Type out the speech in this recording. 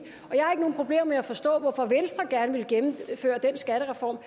og med at forstå hvorfor venstre gerne ville gennemføre den skattereform